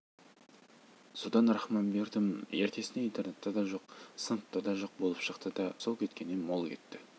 содан рахманбердім ертесіне интернатта да жоқ сыныпта да жоқ болып шықты да сол кеткеннен мол кетті